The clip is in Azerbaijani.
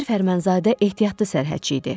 Gizir Fərmanzadə ehtiyatlı sərhədçi idi.